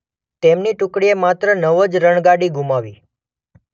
તેમની ટુકડીએ માત્ર નવ જ રણગાડી ગુમાવી.